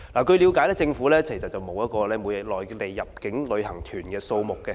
據了解，政府並沒有每日內地入境旅行團的數字。